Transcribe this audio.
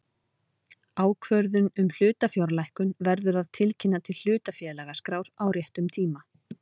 Ákvörðun um hlutafjárlækkun verður að tilkynna til hlutafélagaskrár á réttum tíma.